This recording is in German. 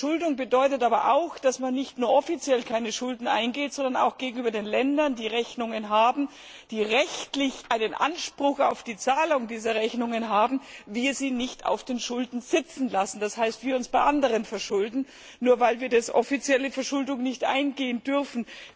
Verschuldung bedeutet aber auch, dass man nicht nur offiziell keine Schulden eingeht, sondern auch die Länder, die Rechnungen haben, die rechtlich einen Anspruch auf die Zahlung dieser Rechnung haben, nicht auf den Schulden sitzen lässt, das heißt, dass wir uns bei anderen verschulden, nur weil wir eine offizielle Verschuldung nicht eingehen dürfen.